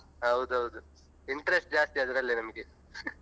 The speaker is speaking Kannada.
ಹೌದು ಹೌದು interest ಜಾಸ್ತಿ ಅದ್ರಲ್ಲೇ ನಮ್ಗೆ.